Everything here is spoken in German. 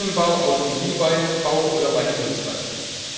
im Maschinenbau, Automobilbau oder bei den Dienstleistern.